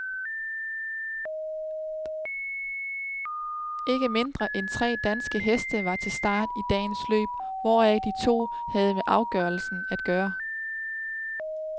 Ikke mindre end tre danske heste var til start i dagens løb, hvoraf de to havde med afgørelsen at gøre.